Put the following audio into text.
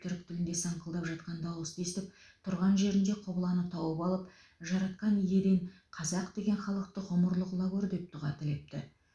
түрік тілінде саңқылдап жатқан дауысты естіп тұрған жерінде құбыланы тауып алып жаратқан иеден қазақ деген халықты ғұмырлы қыла гөр деп дұға тілепті